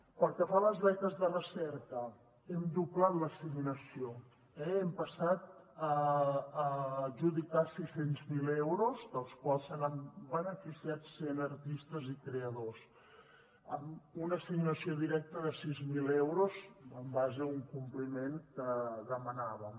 pel que fa a les beques de recerca hem doblat l’assignació eh hem passat a adjudicar sis cents miler euros dels quals se n’han beneficiat cent artistes i creadors amb una assignació directa de sis mil euros en base a un compliment que demanàvem